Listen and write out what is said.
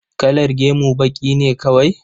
Kalar gemu baƙi ne kawai?